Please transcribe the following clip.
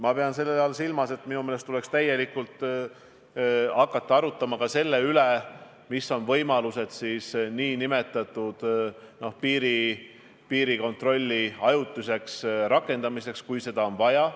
Ma pean selle all silmas, et minu meelest tuleks hakata arutama ka selle üle, mis võimalused on piirikontrolli ajutiseks rakendamiseks, kui seda on vaja.